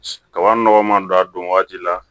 Kaba nɔgɔ man don a don waati la